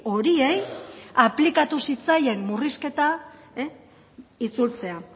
horiei aplikatu zitzaien murrizketa itzultzea